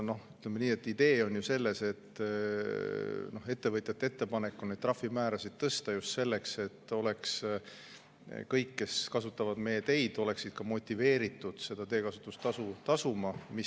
Ütleme nii, et idee on ju selles, et ettevõtjate ettepanek on neid trahvimäärasid tõsta just selleks, et kõik, kes kasutavad meie teid, oleksid ka motiveeritud seda teekasutustasu tasuma.